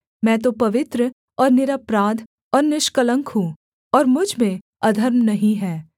मैं तो पवित्र और निरपराध और निष्कलंक हूँ और मुझ में अधर्म नहीं है